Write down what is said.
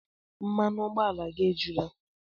Mmanụ ụgbọala gị ejula?